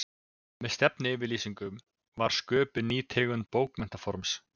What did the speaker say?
Með stefnuyfirlýsingum var sköpuð ný tegund bókmenntaforms.